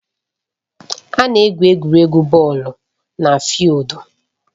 A na-egwu egwuregwu bọọlụ na fịịldu